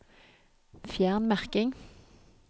Fjern merking